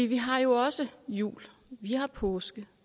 vi har jo også jul vi har påske